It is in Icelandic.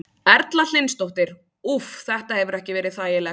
Erla Hlynsdóttir: Úff, þetta hefur ekki verið þægilegt?